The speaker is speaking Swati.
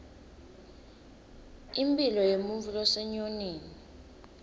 impilo yemuntfu losenyonini